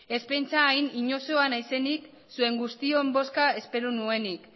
ez pentsa hain inozoa naizenik zuen guztion bozka espero nuenik